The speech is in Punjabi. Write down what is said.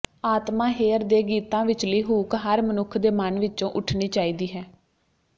ਆਤਮਾ ਹੇਅਰ ਦੇ ਗੀਤਾਂ ਵਿਚਲੀ ਹੂਕ ਹਰ ਮਨੁੱਖ ਦੇ ਮਨ ਵਿੱਚੋਂ ਉੱਠਣੀ ਚਾਹੀਦੀ ਹੈ